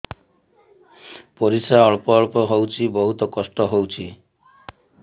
ପରିଶ୍ରା ଅଳ୍ପ ଅଳ୍ପ ହଉଚି ବହୁତ କଷ୍ଟ ହଉଚି